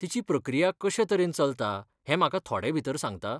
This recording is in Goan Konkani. तिची प्रक्रिया कशेतरेन चलता हें म्हाका थोडेभितर सांगता?